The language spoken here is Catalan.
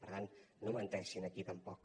per tant no menteixin aquí tampoc